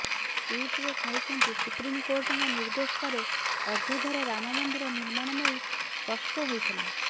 ଟ୍ୱିଟ୍ରେ କହିଛନ୍ତି ସୁପ୍ରିମକୋର୍ଟଙ୍କ ନିର୍ଦ୍ଦେଶ ପରେ ଅଯୋଧ୍ୟାରେ ରାମ ମନ୍ଦିର ନିର୍ମାଣ ନେଇ ସ୍ପଷ୍ଟ ହୋଇଥିଲା